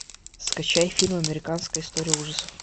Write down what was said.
скачай фильм американская история ужасов